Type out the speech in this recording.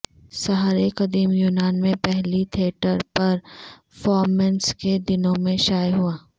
سہارے قدیم یونان میں پہلی تھیٹر پرفارمنس کے دنوں میں شائع ہوا